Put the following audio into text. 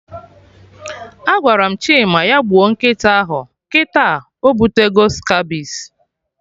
Agwara m Chima ya gbuo nkịta ahụ, kịta obutego Scabies